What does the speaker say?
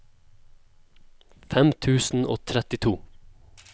fem tusen og trettito